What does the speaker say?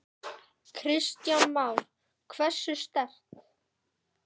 Kristján Már: Hversu sterkt?